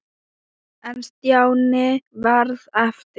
En Stjáni varð eftir.